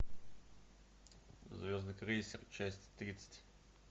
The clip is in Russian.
звездный крейсер часть тридцать